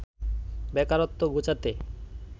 বেকারত্ব ঘোচাতে